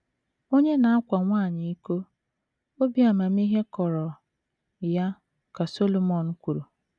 “ Onye na - akwa nwanyị iko, obi amamihe kọrọ ya, ” ka Solomọn kwuru.